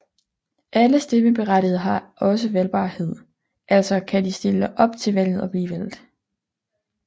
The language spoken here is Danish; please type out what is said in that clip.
Alle stemmeberettigede har også valgbarhedaltså kan de stille op til valget og blive valgt